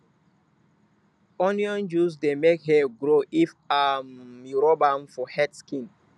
onion juice dey make hair grow if um you rub am for head skin